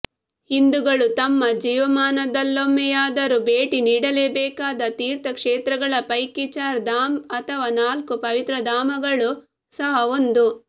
ಹಿಂದುಗಳು ತಮ್ಮ ಜೀವಮಾನದಲ್ಲೊಮ್ಮೆಯಾದರೂ ಭೇಟಿ ನೀಡಲೇಬೇಕಾದ ತೀರ್ಥ ಕ್ಷೇತ್ರಗಳ ಪೈಕಿ ಚಾರ್ ಧಾಮ್ ಅಥವಾ ನಾಲ್ಕು ಪವಿತ್ರಧಾಮಗಳೂ ಸಹ ಒಂದು